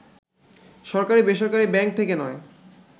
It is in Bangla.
সরকারি-বেসরকারি ব্যাংক থেকে নয়